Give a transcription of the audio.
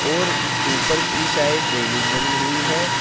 और ऊपर की साइड रेलिंग बनी हुई है।